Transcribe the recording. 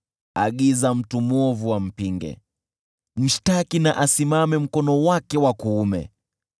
Agiza mtu mwovu ampinge, mshtaki asimame mkono wake wa kuume.